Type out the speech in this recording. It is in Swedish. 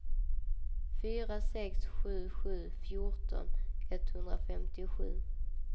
fyra sex sju sju fjorton etthundrafemtiosju